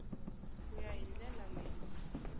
ku ya hi ndlela leyi